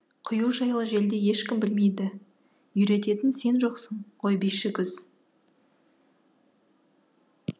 құю жайлы желдей ешкім білмейді үйрететін сен жоқсың ғой биші күз